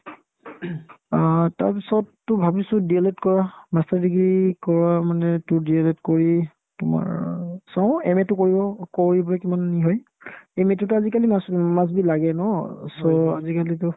অ, তাৰপিছততো ভাবিছো D EL ED কৰা master degree কৰা মানে তোৰ D EL ED কৰি তোমাৰ চাও MA তো কৰি লও কৰিপিনে কিমানখিনি হয় MA তোতো আজিকালি much much be লাগে ন so আজিকালিতো